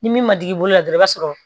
Ni min ma digi i bolo dɔrɔn i b'a sɔrɔ